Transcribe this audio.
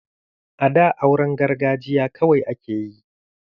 A da auran gargajiya kawai ake yi